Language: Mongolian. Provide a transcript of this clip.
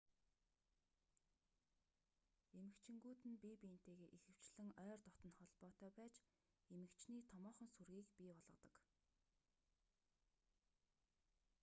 эмэгчингүүд нь бие биентэйгээ ихэвчлэн ойр дотно холбоотой байж эмэгчний томоохон сүргийг бий болгодог